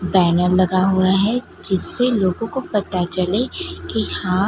banner लगा हुआ है जिससे लोगों को पता चले की यहा--